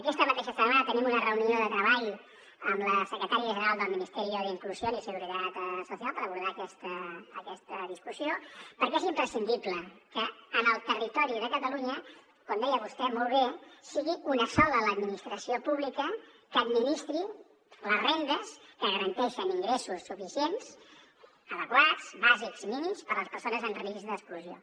aquesta mateixa setmana tenim una reunió de treball amb la secretària general del ministerio de inclusión y seguridad social per abordar aquesta discussió perquè és imprescindible que en el territori de catalunya com deia vostè molt bé sigui una sola l’administració pública que administri les rendes que garanteixen ingressos suficients adequats bàsics mínims per a les persones en risc d’exclusió